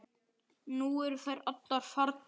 Nú eru þær allar farnar.